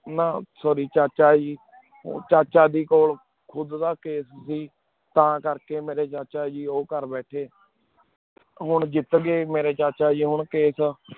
ਨਾ sorry ਚਾਚਾ ਜੀ ਚਾਚਾ ਜੀ ਕੋਲ ਖੁਦ ਦਾ case ਕੈਸੇ ਸੀ ਤਾਂ ਕਰ ਕੀ ਮੇਰੀ ਚਾਹਾ ਜੀ ਉ ਕਰ ਬਹ੍ਥ੍ਯ ਹੁਣ ਜੇਟ ਗੀ ਮੇਰੀ ਚਾਚਾ ਜੀ ਹੁਣ case